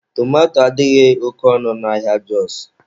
Tomato adịghị oke ọnụ n'ahịa Jọs